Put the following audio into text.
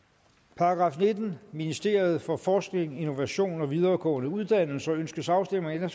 § nittende ministeriet for forskning innovation og videregående uddannelser ønskes afstemning om